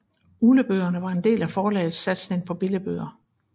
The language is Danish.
Uglebøgerne var en del af forlagets satsning på billigbøger